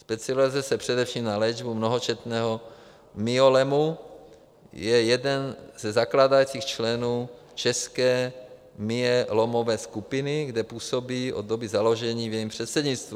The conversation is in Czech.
Specializuje se především na léčbu mnohočetného myelomu, je jeden ze zakládajících členů České myelomové skupiny, kde působí od doby založení v jejím předsednictvu.